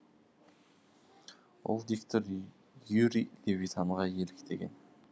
ол диктор юрий левитанға еліктеген